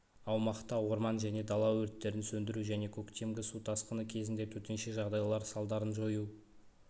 аумақта орман және дала өрттерін сөндіру және көктемгі су тасқыны кезінде төтенше жағдайлар салдарын жою